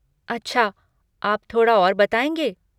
अच्छा, आप थोड़ा और बताएँगे?